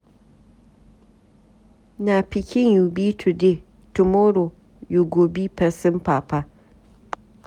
Na pikin you be today, tomorrow you go be pesin papa.